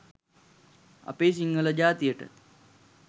අපේ සිංහල ජාතියට